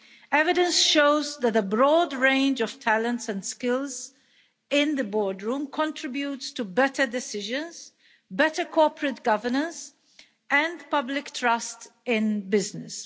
Evidence shows that a broad range of talents and skills in the boardroom contributes to better decisions, better corporate governance, and public trust in business.